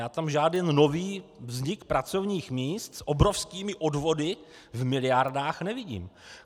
Já tam žádný nový vznik pracovních míst s obrovskými odvody v miliardách nevidím.